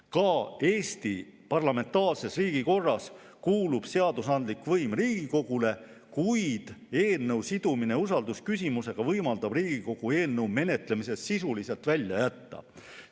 Ka Eesti parlamentaarses riigikorras kuulub seadusandlik võim Riigikogule, kuid eelnõu sidumine usaldusküsimusega võimaldab Riigikogu eelnõu menetlemisest sisuliselt kõrvale jätta.